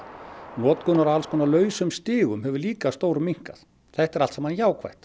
notkun á alls konar lausum stigum hefur líka stór minnkað þetta er allt saman jákvætt